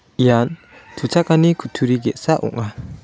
ian tuchakani kutturi ge·sa ong·a.